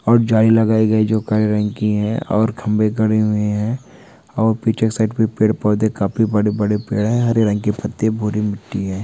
और जाली लगाई गई जो काले रंग की है और खंभे खड़े हुए हैं और पीछे साइड भी पेड़- पौधे काफी बड़े-बड़े पेड़ है हरे रंग के पत्ते भूरी मिट्टी है।